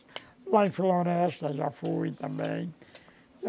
Lá em floresta eu já fui também.